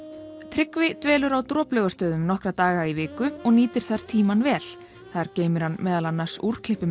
Tryggvi dvelur að Droplaugarstöðum nokkra daga í viku og nýtir þar tímann vel þar geymir hann meðal annars